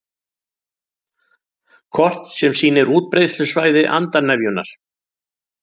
Kort sem sýnir útbreiðslusvæði andarnefjunnar